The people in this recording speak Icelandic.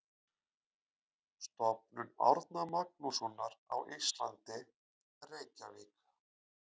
Stofnun Árna Magnússonar á Íslandi, Reykjavík.